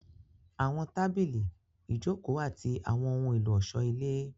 Àwọn tábìlì, ìjòkó àti àwọn ohun ọ̀ṣọ́ ilé